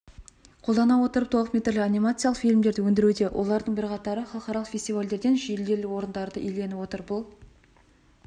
қолдана отырып толықметрлі анимациялық фильмдерді өндіруде олардың бірқатары халықаралық фестивальдерден жүлделі орындарды иеленіп отыр бұл